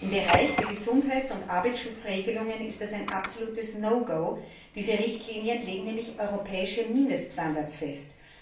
Im Bereich der Gesundheits und Arbeitsschutzregelungen ist es ein absolutes No go diese Richtlinien legen nämlich europäische Mindeststandards fest.